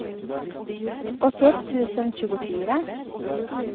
åttioett tusen tjugofyra